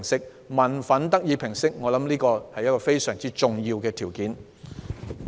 我相信民憤得以平息是非常重要的。